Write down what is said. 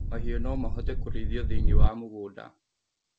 Mahiũ nomahote kũrĩithio thĩinī wa mũgũnda